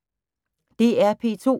DR P2